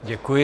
Děkuji.